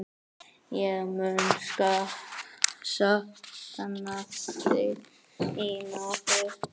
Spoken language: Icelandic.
Ég mun sakna þín, afi.